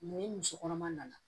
ni muso kɔnɔma nana